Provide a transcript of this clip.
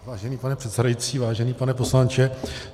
Vážený pane předsedající, vážený pane poslanče.